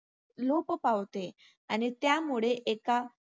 लोप पावते आणि त्यामुळे एका